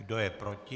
Kdo je proti?